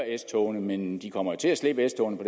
s togene men de kommer jo til at slippe s togene på